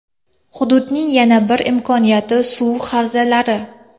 Hududning yana bir imkoniyati suv havzalari.